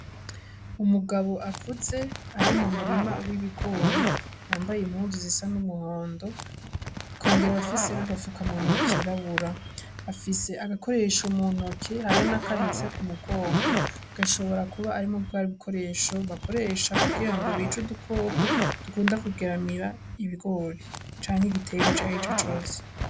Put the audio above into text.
Umugabo akuze ari mu murima w'ibigori yambaye imuzu zisa n'umuhondo kongera afise n'agapfuka muntu wakirabura afise agakoresho muntoke haria n'akahetse ku mugongo gashobora kuba arimu bwari bukoresho bakoresha kugira ngo bicu dukoko dukunda kugeramira ibigori canke igitegwe cahi ico cose.